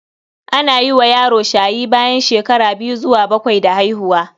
Ana yi wa yaro shayi bayan shekara biyu zuwa bakwai da haihuwa.